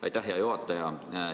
Aitäh, hea juhataja!